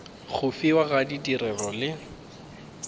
go fiwa ga tirelo le